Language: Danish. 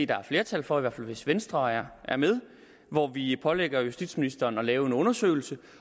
der er flertal for i hvert fald hvis venstre er med hvor vi pålægger justitsministeren at lave en undersøgelse